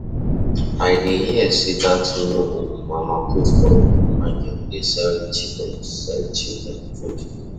I dey hear sey dat new um mama put for um market dey sell cheap um sell cheap um food.